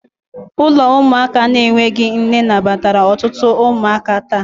Ụlọ ụmụaka na-enweghị nne nabatara ọtụtụ ụmụaka taa